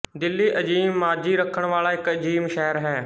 ਦਿੱਲੀ ਅਜ਼ੀਮ ਮਾਜ਼ੀ ਰੱਖਣ ਵਾਲਾ ਇੱਕ ਅਜ਼ੀਮ ਸ਼ਹਿਰ ਹੈ